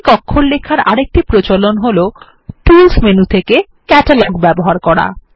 Greek অক্ষর লেখার আরেকটি প্রচলন হল টুলস মেনু থেকে ক্যাটালগ ব্যবহার করা